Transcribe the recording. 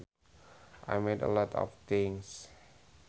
I made a lot of things